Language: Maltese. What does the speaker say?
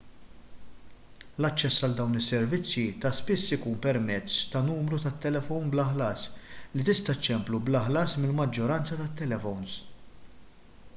l-aċċess għal dawn is-servizzi ta' spiss ikun permezz ta' numru tat-telefon bla ħlas li tista' ċċemplu bla ħlas mill-maġġoranza tal-telefons